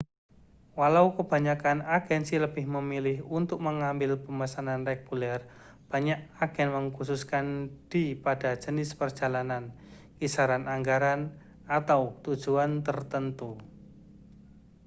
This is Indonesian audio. walau kebanyakan agensi lebih memilih untuk mengambil pemesanan reguler banyak agen mengkhususkan dii pada jenis perjalanan kisaran anggaran atau tujuan tertentu